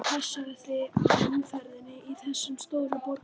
Og passaðu þig á umferðinni í þessum stóru borgum.